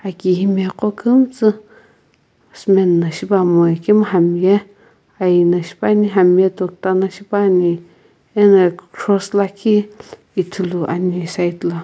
aki qo kumstu cement na shipuamoi ikemu hami ye aiyi na shipuani hami ye tokta na shipuani ena cross lakhi ithuluani side la.